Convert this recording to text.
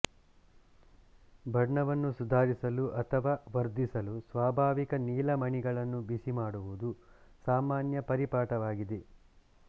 ಬಣ್ಣವನ್ನು ಸುಧಾರಿಸಲು ಅಥವಾ ವರ್ಧಿಸಲು ಸ್ವಾಭಾವಿಕ ನೀಲಮಣಿಗಳನ್ನು ಬಿಸಿಮಾಡುವುದು ಸಾಮಾನ್ಯ ಪರಿಪಾಠವಾಗಿದೆ